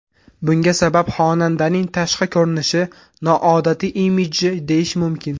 Bunga sabab xonandaning tashqi ko‘rinishi, noodatiy imidji, deyish mumkin.